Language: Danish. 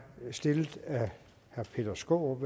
stillet af herre peter skaarup